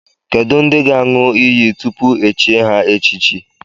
Kedụ ndị ga-aṅụ iyi tupu e chie ha echichi?